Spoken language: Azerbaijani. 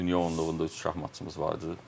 Dünya onluğunda üç şahmatçımız var idi.